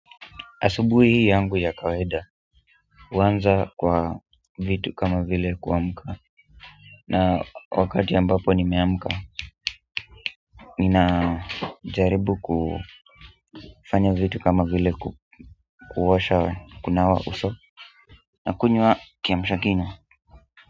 Asubuhi yangu ya kawaida huanza kwa vitu kama vile kuamka na wakati ambapo nimeamka, ninajaribu kufanya vitu kama vile kuosha kunawa uso nakunywa kiamsha kinywa.